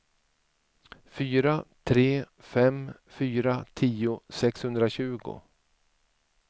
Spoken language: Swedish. fyra tre fem fyra tio sexhundratjugo